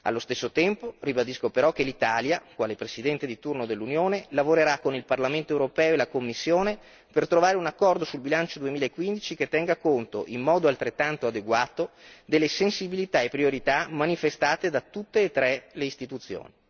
Allo stesso tempo, ribadisco però che l'Italia, quale Presidente di turno dell'Unione, lavorerà con il Parlamento europeo e la Commissione per trovare un accordo sul bilancio 2015 che tenga conto in modo altrettanto adeguato delle sensibilità e priorità manifestate da tutte e tre le Istituzioni.